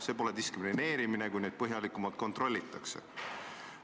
See pole diskrimineerimine, kui neid põhjalikumalt kontrollitakse.